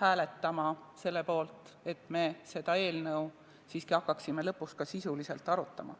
hääletama selle poolt, et me lõpuks seda seadust hakkaksime ka sisuliselt arutama.